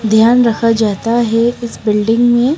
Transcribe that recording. ध्यान रखा जाता है इस बिल्डिंग में--